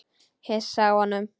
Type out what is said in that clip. Hissa á honum.